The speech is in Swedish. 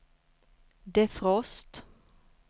defrost